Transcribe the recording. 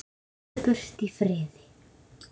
Fljúgðu burt í friði.